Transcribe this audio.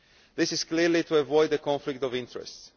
This is clearly to avoid a conflict of interests.